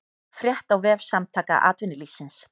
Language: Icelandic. Frétt á vef Samtaka atvinnulífsins